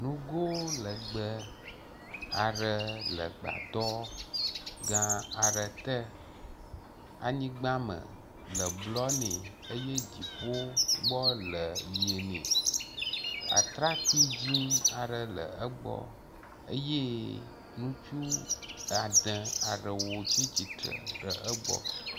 Nugo legbe aɖe le gbadɔ gã aɖe te. Anyigba me le blɔ nɛ eye dziƒogbɔ le ʋie ne. Atrakpi dzi aɖe le egbɔ eye ŋutsu ade aɖewo tsi tsitre ɖe egbɔ.